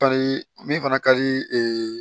Pari min fana ka di